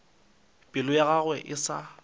pelo ya gagwe e sa